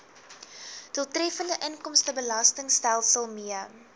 doeltreffende inkomstebelastingstelsel mee